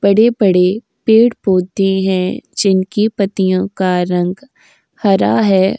बड़े-बड़े पेड़-पौधे हैं। जिनकी पत्तियों का रंग हरा है।